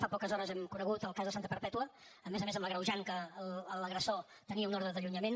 fa poques hores hem conegut el cas de santa perpètua a més a més amb l’agreujant que l’agressor tenia una ordre d’allunyament